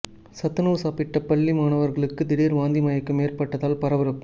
சத்துணவு சாப்பிட்ட பள்ளி மாணவர்களுக்கு திடீர் வாந்தி மயக்கம் ஏற்பட்டதால் பரபரப்பு